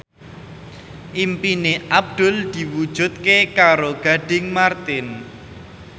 impine Abdul diwujudke karo Gading Marten